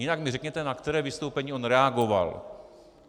Jinak mi řekněte, na které vystoupení on reagoval.